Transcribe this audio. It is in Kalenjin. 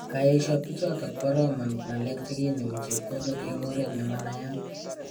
kaesha bichotok bo roman ng'alek chekinemu chepkondok eng oret nemayanat